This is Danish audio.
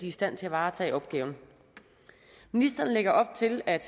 i stand til at varetage opgaven ministeren lægger op til at